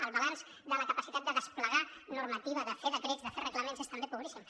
el balanç de la capacitat de desplegar normativa de fer decrets de fer reglaments és també pobríssim